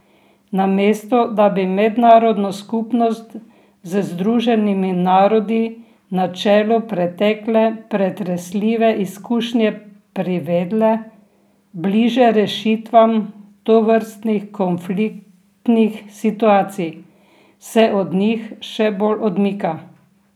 Namesto da bi mednarodno skupnost z Združenimi narodi na čelu pretekle pretresljive izkušnje privedle bliže rešitvam tovrstnih konfliktnih situacij, se od njih še bolj odmika.